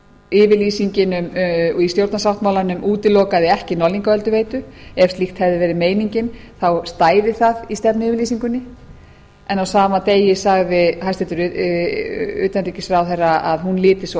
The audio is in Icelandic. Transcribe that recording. yfirlýsingin um málefni þjórsárvera útilokaði ekki norðlingaölduveitu ef slíkt hefði verið meiningin stæði það í stefnuyfirlýsingunni en á sama degi sagði hæstvirtur utanríkisráðherra að hún liti svo á